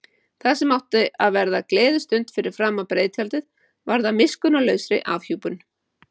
Það sem átti að verða gleðistund fyrir framan breiðtjaldið varð að miskunnarlausri afhjúpun.